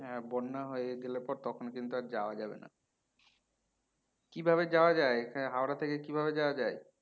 হ্যাঁ বন্যা হয়ে গেলে পর তখন কিন্তু আর যাওয়া যাবে না কিভাবে যাওয়া যাই হাওড়া থেকে কিভাবে যাওয়া যাই?